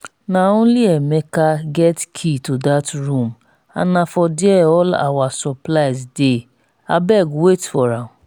na only emeka get key to dat room and na for there all our supplies dey abeg wait for am